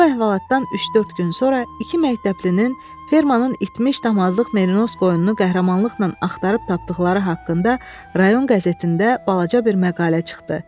Bu əhvalatdan üç-dörd gün sonra iki məktəblinin fermanın itmiş damazlıq merinos qoyununu qəhrəmanlıqla axtarıb tapdıqları haqqında rayon qəzetində balaca bir məqalə çıxdı.